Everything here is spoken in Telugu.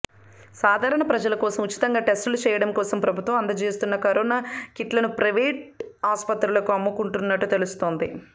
సాధారణ ప్రజలకోసం ఉచితంగా టెస్టులు చేయాడం కోసం ప్రభుత్వం అందచేస్తున్న కరోనా కిట్లను ప్రయివేట్ ఆసుపత్రులకు అమ్ముకుంటున్నట్టు తెలుస్తోంది